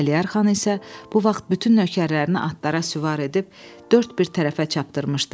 Əliyar xan isə bu vaxt bütün nökərlərini atlara süvar edib dörd bir tərəfə çapdırmışdı.